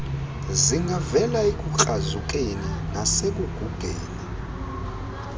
zingavela ekukrazukeni nasekugugeni